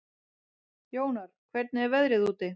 Jónar, hvernig er veðrið úti?